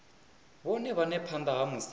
vhone vhane phanda ha musi